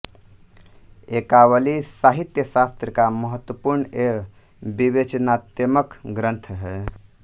एकावली साहित्यशास्त्र का महत्वपूर्ण एवं विवेचनात्मक ग्रंथ है